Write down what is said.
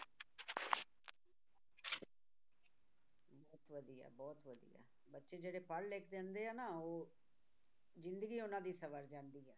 ਬੱਚੇ ਜਿਹੜੇ ਪੜ੍ਹ ਲਿਖ ਜਾਂਦੇ ਆ ਨਾ ਉਹ ਜ਼ਿੰਦਗੀ ਉਹਨਾਂ ਦੀ ਸਵਰ ਜਾਂਦੀ ਹੈ